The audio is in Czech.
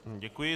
Děkuji.